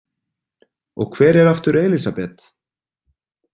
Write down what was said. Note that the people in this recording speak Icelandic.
Og hver var aftur Elísabet?